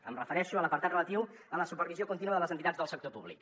em refereixo a l’apartat relatiu a la supervisió contínua de les entitats del sector públic